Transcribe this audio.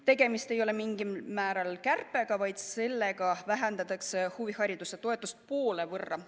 Tegemist ei ole mingil vähesel määral kärpega, vaid sellega vähendatakse huvihariduse toetust poole võrra.